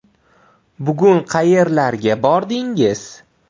Bugun qayerlarga bordingiz?